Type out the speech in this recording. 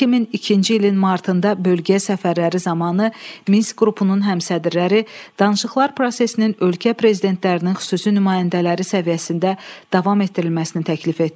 2002-ci ilin martında bölgəyə səfərləri zamanı Minsk qrupunun həmsədrləri danışıqlar prosesinin ölkə prezidentlərinin xüsusi nümayəndələri səviyyəsində davam etdirilməsini təklif etdilər.